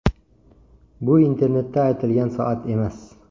Bu internetda aytilgan soat emas.